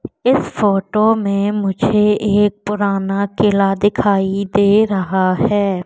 इस फोटो में मुझे एक पुराना किला दिखाई दे रहा है।